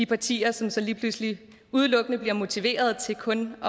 partier som så lige pludselig udelukkende bliver motiveret til kun at